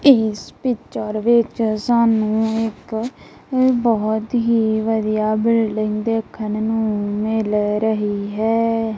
ਇੱਸ ਪਿਕਚਰ ਵਿੱਚ ਸਾਨੂੰ ਇੱਕ ਬਹੁਤ ਹੀ ਵਧੀਆ ਬਿਲਡਿੰਗ ਦੇਖਨ ਨੂੰ ਮਿਲ ਰਹੀ ਹੈ।